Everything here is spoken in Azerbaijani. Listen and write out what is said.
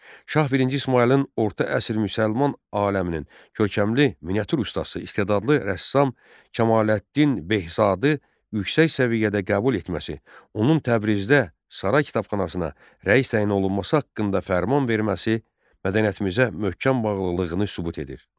Şah birinci İsmayılın orta əsr müsəlman aləminin görkəmli miniatür ustası, istedadlı rəssam Kamaləddin Behşadı yüksək səviyyədə qəbul etməsi, onun Təbrizdə saray kitabxanasına rəis təyin olunması haqqında fərman verməsi mədəniyyətimizə möhkəm bağlılığını sübut edir.